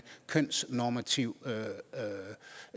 kønsnormativ